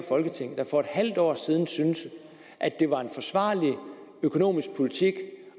folketing der for et halvt år siden syntes at det var en forsvarlig økonomisk politik